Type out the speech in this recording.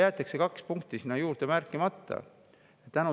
Aga kaks punkti jäetakse sealjuures märkimata.